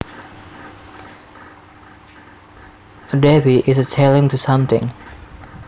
A defy is a challenge to something